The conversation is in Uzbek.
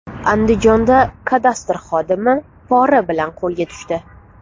Andijonda kadastr xodimi pora bilan qo‘lga tushdi.